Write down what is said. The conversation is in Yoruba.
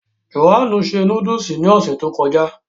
Jòhánù se núdùsì ní ọ̀sẹ̀ tí ó kọjá